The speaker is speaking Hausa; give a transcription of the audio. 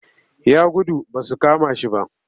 Ya gudu ba su kama shi ba